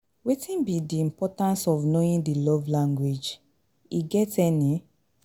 wetin be di importance of knowing di love language, e get any?